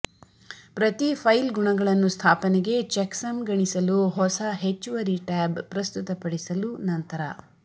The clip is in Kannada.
ಪ್ರತಿ ಫೈಲ್ ಗುಣಗಳನ್ನು ಸ್ಥಾಪನೆಗೆ ಚೆಕ್ಸಮ್ ಗಣಿಸಲು ಹೊಸ ಹೆಚ್ಚುವರಿ ಟ್ಯಾಬ್ ಪ್ರಸ್ತುತಪಡಿಸಲು ನಂತರ